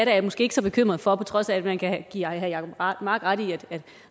er jeg måske ikke så bekymret for på trods af at man kan give herre jacob mark ret i at